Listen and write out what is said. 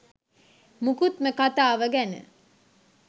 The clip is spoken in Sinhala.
මුකුත්ම කතාව ගැන